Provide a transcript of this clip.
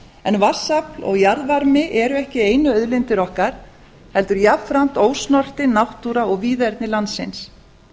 en vatnsafl og jarðvarmi eru ekki einu auðlindir okkar heldur jafnframt ósnortin náttúra og víðerni landsins